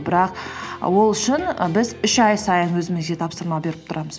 бірақ ол үшін і біз үш ай сайын өзімізге тапсырма беріп тұрамыз